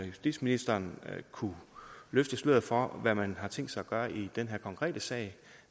justitsministeren kunne løfte sløret for hvad man har tænkt sig at gøre i den her konkrete sag